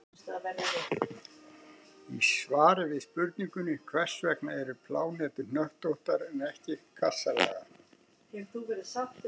Í svari við spurningunni Hvers vegna eru plánetur hnöttóttar en ekki kassalaga?